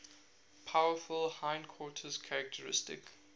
powerful hindquarters characteristic